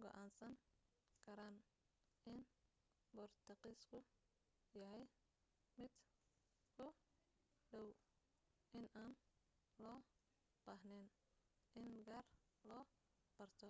go'aansan karaan in boortaqiisku yahay mid ku dhow inaan loo baahnayn in gaar loo barto